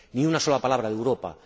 Ni una sola palabra de Europa.